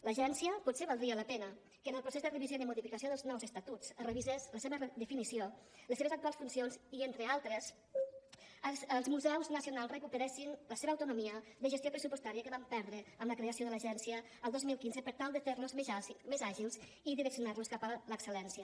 l’agència potser valdria la pena que en el procés de revisió i de modificació dels nous estatuts es revisés la seva definició les seves actuals funcions i entre altres els museus nacionals recuperessin la seva autonomia de gestió pressupostària que van perdre amb la creació de l’agència el dos mil quinze per tal de fer los més àgils i direccionar los cap a l’excel·lència